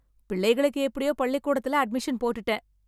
பிள்ளைகளுக்கு எப்படியோ பள்ளிக்கூடத்துல அட்மிஷன் போட்டுட்டேன்.